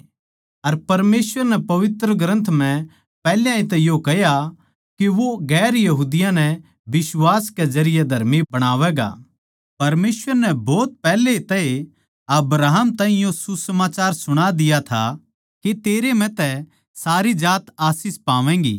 अर परमेसवर नै पवित्र ग्रन्थ म्ह पैहल्या तै ए यो कह्या के वो गैर यहूदियाँ नै बिश्वास के जरिये धर्मी बणावैगा परमेसवर नै भोत पैहले तै ए अब्राहम ताहीं यो सुसमाचार सुणा दिया था के तेरै म्ह तै सारी जात आशीष पावैगीं